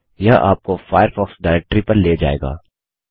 यह आपको Firefox directory पर ले जाएगा